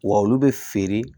Wa olu bɛ feere